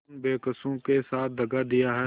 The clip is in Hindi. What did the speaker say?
उन बेकसों के साथ दगा दिया है